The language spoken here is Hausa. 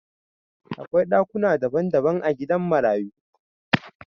Akwai dakuna dabban dabban a gidan marayu